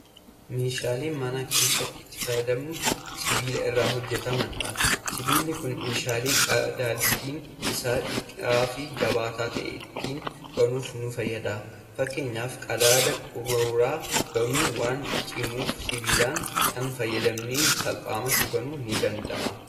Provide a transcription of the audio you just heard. Meeshaa mana keessatti itti fayyadamnu Sibiila irraa hojjatamuudha. sibiilli Kuni meeshaalee qadaadni Isaa dhiphaa fi jabaataa ta'e ittiin banuuf nu fayyada. fakkaanyaaf qadaada qaruuraa banuun waan cimuuf sibiila kana fayyadamnee salphumatti banuun ni danda'ama.